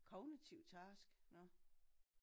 Kognitiv task nåh